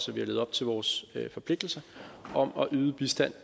vi har levet op til vores forpligtelser om at yde bistand